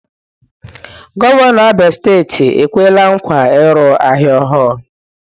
Gọvanọ Abia steeti ekwela nkwa ịrụ ahịa ọhụrụ.